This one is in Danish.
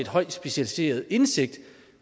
højt specialiseret indsigt